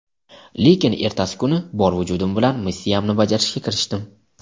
lekin ertasi kuni bor vujudim bilan missiyamni bajarishga kirishdim.